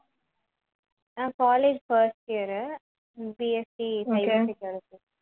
நான் college first year உ BSCcyber security